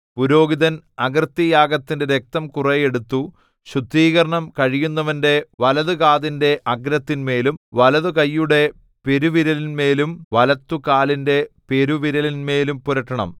പുരോഹിതൻ അകൃത്യയാഗത്തിന്റെ രക്തം കുറെ എടുത്തു ശുദ്ധീകരണം കഴിയുന്നവന്റെ വലതുകാതിന്റെ അഗ്രത്തിന്മേലും വലതുകൈയുടെ പെരുവിരലിന്മേലും വലത്തുകാലിന്റെ പെരുവിരലിന്മേലും പുരട്ടണം